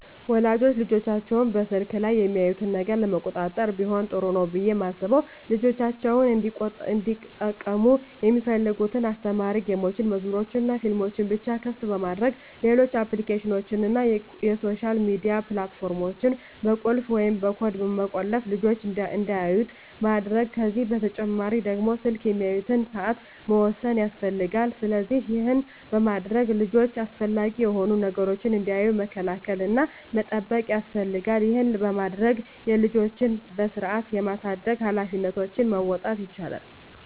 ወላጆች ልጆቻቸው በስልክ ላይ የሚያዩትን ነገር ለመቆጣጠር ቢሆን ጥሩ ነው ብየ ማስበው ልጆቻቸው እንዲጠቀሙ ሚፈልጉትን አስተማሪ ጌሞችን፣ መዝሙሮችንናፊልሞችን ብቻ ክፍት በማድረግ ሌሎች አፕሊኬሽኖችን እና የሶሻል ሚዲያ ፕላት ፎርሞችን በቁልፍ ወይም በኮድ በመቆለፍ ልጅች እንዳያዩት ማድረግ ከዚህ በተጨማሪ ደግሞ ስልክ የሚያዩበትን ሰአት መወሰን ያስፈልጋል። ስለዚህ ይህን በማድረግ ልጆች አላስፈላጊ የሆኑ ነገሮችን እንዳያዩ መከላከል እና መጠበቅ ያስፈልጋል ይህን በማድረግ የልጆችን በስርአት የማሳደግ ሀላፊነቶችን መወጣት ይቻላል።